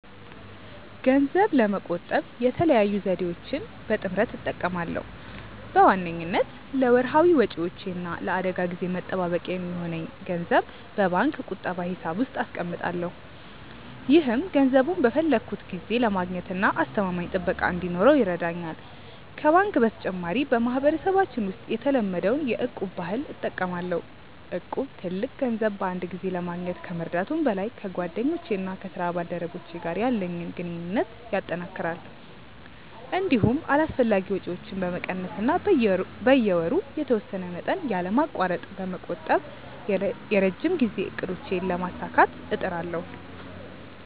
ገንዘብ ለመቆጠብ የተለያዩ ዘዴዎችን በጥምረት እጠቀማለሁ። በዋነኝነት ለወርሃዊ ወጪዎቼ እና ለአደጋ ጊዜ መጠባበቂያ የሚሆን ገንዘብ በባንክ ቁጠባ ሂሳብ ውስጥ አስቀምጣለሁ። ይህም ገንዘቡን በፈለግኩት ጊዜ ለማግኘትና አስተማማኝ ጥበቃ እንዲኖረው ይረዳኛል። ከባንክ በተጨማሪ፣ በማህበረሰባችን ውስጥ የተለመደውን የ'እቁብ' ባህል እጠቀማለሁ። እቁብ ትልቅ ገንዘብ በአንድ ጊዜ ለማግኘት ከመርዳቱም በላይ፣ ከጓደኞቼና ከስራ ባልደረቦቼ ጋር ያለኝን ግንኙነት ያጠናክራል። እንዲሁም አላስፈላጊ ወጪዎችን በመቀነስ እና በየወሩ የተወሰነ መጠን ያለማቋረጥ በመቆጠብ የረጅም ጊዜ እቅዶቼን ለማሳካት እጥራለሁ።